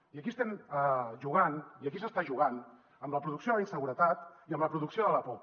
i aquí estem jugant i aquí s’està jugant amb la producció de la inseguretat i amb la producció de la por